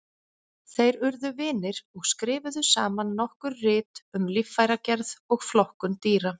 Þeir urðu vinir og skrifuðu saman nokkur rit um líffæragerð og flokkun dýra.